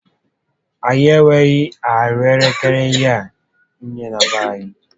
Anyị enweghị ahụekere hie nné na be anyị